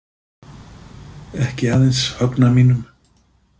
Ekki aðeins Högna mínum.